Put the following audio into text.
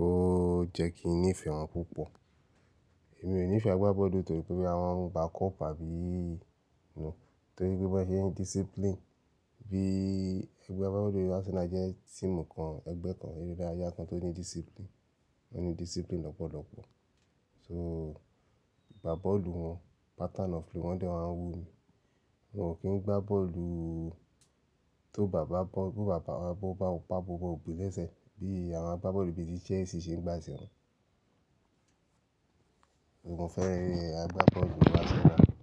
ó jẹ́ kí n nífẹ̀ẹ́ wọn púpọ̀. Èmi ò nífẹ̀ẹ́ agbábọ́ọ̀lù torí pé boya wọn ń gbá cup àbí, núù. Torí pé wọ́n ṣe ń discipline. Bí ẹgbẹ́ agbábọ́ọ̀lù Arsenal jẹ́ team kan, ẹgbẹ́ kan, eré ìdárayá kan tó ní discipline, tó ní discipline lọ́pọ̀lọpọ̀. So agbábọ́ọ̀lù wọn, pattern of play wọn de máa ń wu mi. Wọn ò kí ń gbá bọ́ọ̀lù tó bàbá bọ́, tó bàbá bọ́, bápa gbogbo òpin lẹ́sẹ̀ bí àwọn agbábọ́ọ̀lù ìbí ti Chelsea ṣe ń gbà sí wọn. Èmi mo fẹ́ràn agbábọ́ọ̀lù Arsenal.